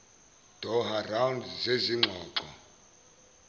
doha round zezingxoxo